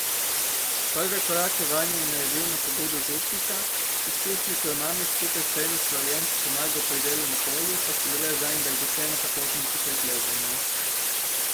Prve korake vanje je naredil na pobudo župnika, izkušnje, ko je mami skupaj s tremi sorojenci pomagal pri delu na polju, pa so bile zanj dragocena popotnica pri plezanju.